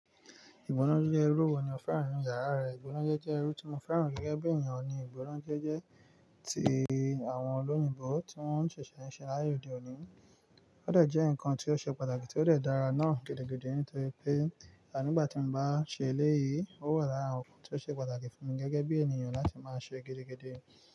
Ìgbónájé jẹ́ irú wo ni o fẹ́ràn nínú yàrá rẹ? Ìgbónájé jẹ́ irú tí mo fẹ́ràn gẹ́gẹ́ bí ènìyàn. Ìgbónájé jẹ́ ti àwọn olóyìnbo tí wọ́n ń ṣẹ̀ṣẹ̀ ń ṣe láyé òde òní. Ó dẹ̀ jẹ́ nǹkan tí ó ṣe pàtàkì tí ó dẹ̀ dára náà gidigidi nítorí pé ànígbà tí mo bá ṣe eléyìí, ó wà lára ohun tí ó ṣe pàtàkì fún mi gẹ́gẹ́ bí ènìyàn láti máa ṣe gidigidi.